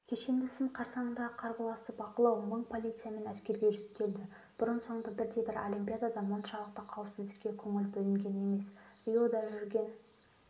кешенді сын қарсаңындағы қарбаласты бақылау мың полиция мен әскерге жүктелді бұрын соңды бірдебір олимпиадада мұншалықты қауіпсіздікке көңіл бөлінген емес риода жүрген